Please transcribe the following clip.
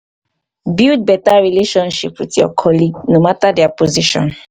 build better relationship with your colleague no matter their position